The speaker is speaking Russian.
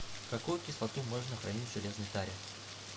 какую кислоту можно хранить в железной таре